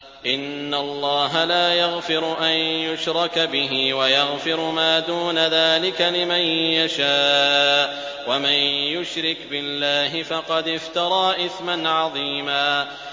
إِنَّ اللَّهَ لَا يَغْفِرُ أَن يُشْرَكَ بِهِ وَيَغْفِرُ مَا دُونَ ذَٰلِكَ لِمَن يَشَاءُ ۚ وَمَن يُشْرِكْ بِاللَّهِ فَقَدِ افْتَرَىٰ إِثْمًا عَظِيمًا